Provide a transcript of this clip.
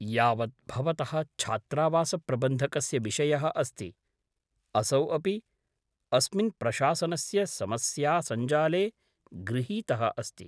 यावत् भवतः छात्रावासप्रबन्धकस्य विषयः अस्ति, असौ अपि अस्मिन् प्रशासनस्य समस्यासंजाले गृहीतः अस्ति।